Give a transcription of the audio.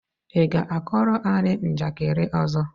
ị ga-kọọrọ anyị njakịrị ọzọ?